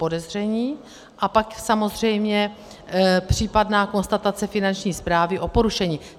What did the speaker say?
Podezření a pak samozřejmě případná konstatace Finanční správy o porušení.